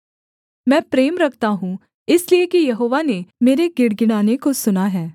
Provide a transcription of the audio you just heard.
मैं प्रेम रखता हूँ इसलिए कि यहोवा ने मेरे गिड़गिड़ाने को सुना है